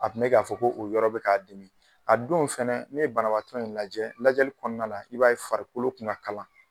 A kun be ka fɔ ko o yɔrɔ be ka dimi. A don fɛnɛ ne ye banabaatɔ in lajɛ, lajɛli kɔnɔna la i b'a ye farikolo kun ka kalan.